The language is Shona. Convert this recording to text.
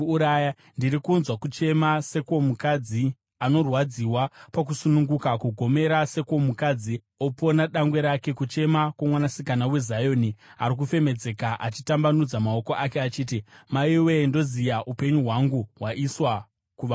Ndiri kunzwa kuchema sekwomukadzi anorwadziwa pakusununguka, kugomera sekwomukadzi opona dangwe rake, kuchema kwoMwanasikana weZioni ari kufemedzeka, achitambanudza maoko ake achiti, “Maiwe! Ndoziya; upenyu hwangu hwaiswa kuvaurayi.”